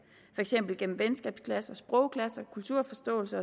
for eksempel gennem venskabsklasser sprogklasser kulturforståelse